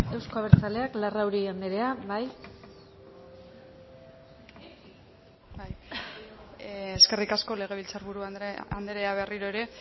castelo anderea euzko abertzaleak larrauri anderea bai eskerrik asko legebiltzar buru anderea berriro ere